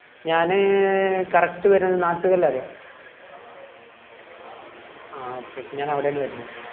ഞാന് correct വരുന്ന നാട്ട്കൊല അറിയോ ആ okay ഞാന് അവിടെന്ന് വരുന്ന്